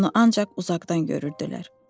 Onu ancaq uzaqdan görürdülər.